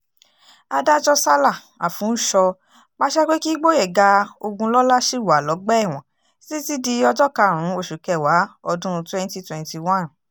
adájọ́ sala àfúnsọ pàṣẹ pé kí gboyega ogunlọ́lá ṣì wà lọ́gbà ẹ̀wọ̀n títí di ọjọ́ karùn-ún oṣù kẹwàá ọdún 2021